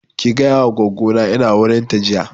Ki gaya wa goggo na ina wurin ta jiya